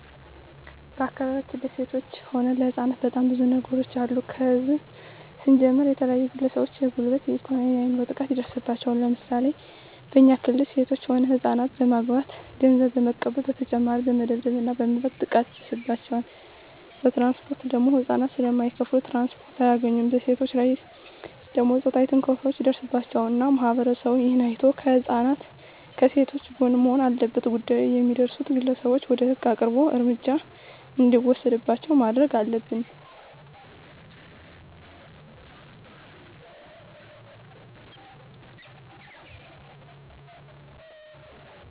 በአካባቢያችን ለሴቶች ሆነ ለህጻናት በጣም ብዙ ነገሮች አሉ ከህዝብ ስንጀምር የተለያዩ ግለሰቦች የጉልበት የኤኮኖሚ የአይምሮ ጥቃት ይደርስባቸዋል ለምሳሌ በኛ ክልል ሴቶች ሆነ ህጻናትን በማገት ገንዘብ በመቀበል በተጨማሪ በመደብደብ እና በመድፈር ጥቃት ይደርስባቸዋል በትራንስፖርት ደግሞ ህጻናት ስለማይከፋሉ ትራንስፖርት አያገኙም በሴቶች ላይ ደግሞ ጾታዊ ትንኮሳዎች ይደርስባቸዋል እና ማህበረሰቡ እሄን አይቶ ከህጻናት ከሴቶች ጎን መሆን አለበት ጉዳት የሚያደርሱት ግለሰቦች ወደ ህግ አቅርቦ እርምጃ እንዲወሰድባቸው ማረግ አለብን